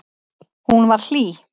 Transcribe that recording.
Hún var hlý.